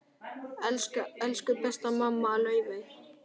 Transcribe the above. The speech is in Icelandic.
Elsku besta amma Laufey.